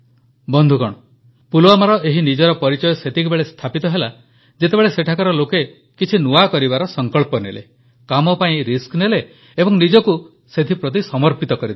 ବନ୍ଧୁଗଣ ପୁଲୱାମାର ଏହି ନିଜର ପରିଚୟ ସେତେବେଳେ ସ୍ଥାପିତ ହେଲା ଯେତେବେଳେ ସେଠାକାର ଲୋକ କିଛି ନୂଆ କରିବାର ସଂକଳ୍ପ କଲେ କାମ ପାଇଁ ରିସ୍କ ନେଲେ ଏବଂ ନିଜକୁ ସେଥିପ୍ରତି ସମର୍ପିତ କରିଦେଲେ